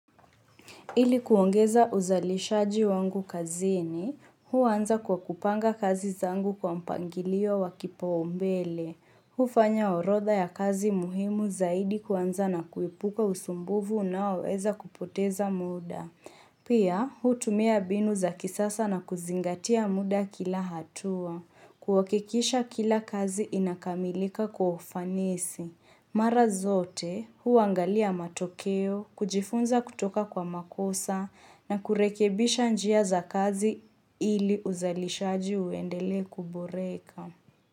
Ili kuongeza uzalishaji wangu kazini, huanza kwa kupanga kazi zangu kwa mpangilio wa kipau mbele. Hufanya orodha ya kazi muhimu zaidi kuanza na kuepuka usumbufu unaoweza kupoteza muda. Pia, hutumia binu za kisasa na kuzingatia muda kila hatua. Kuhakikisha kila kazi inakamilika kwa ufanisi. Mara zote huangalia matokeo, kujifunza kutoka kwa makosa na kurekebisha njia za kazi ili uzalishaji uendelee kuboreka.